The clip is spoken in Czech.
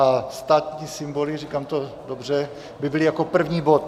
A státní symboly, říkám to dobře, by byly jako první bod.